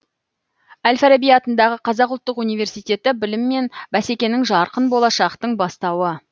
әл фараби атындағы қазақ ұлттық университеті білім мен бәсекенің жарқын болашақтың бастауы